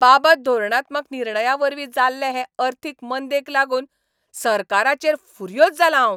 बाबत धोरणात्मक निर्णयांवरवीं जाल्ले हे अर्थीक मंदेक लागून सरकाराचेर फुर्योझ जालां हांव.